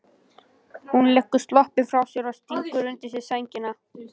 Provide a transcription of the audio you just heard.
Hún leggur sloppinn frá sér og stingur sér undir sængina.